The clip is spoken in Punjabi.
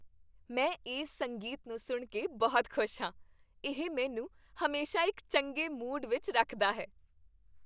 ਮੈਂ ਇਸ ਸੰਗੀਤ ਨੂੰ ਸੁਣ ਕੇ ਬਹੁਤ ਖੁਸ਼ ਹਾਂ। ਇਹ ਮੈਨੂੰ ਹਮੇਸ਼ਾ ਇੱਕ ਚੰਗੇ ਮੂਡ ਵਿੱਚ ਰੱਖਦਾ ਹੈ।